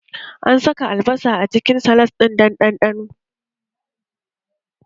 An saka albasa a cikin salat ɗin dan ɗanɗano